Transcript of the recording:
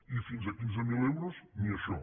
i fins a quinze mil eu·ros ni això